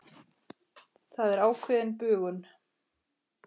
Það er ákveðin bugun.